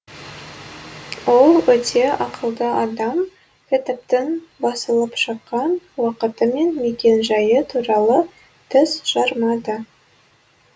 ол өте ақылды адам кітаптың басылып шыққан уақыты мен мекен жайы туралы тіс жармады